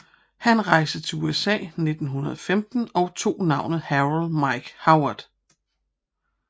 Han rejse til USA 1915 og tog navnet Harold Mike Howard